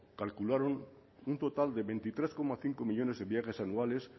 calcularon un total de veintitrés coma cinco millónes de viajes anuales